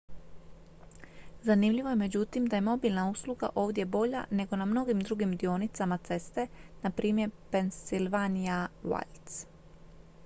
zanimljivo je međutim da je mobilna usluga ovdje bolja nego na mnogim drugim dionicama ceste npr pennsylvania wilds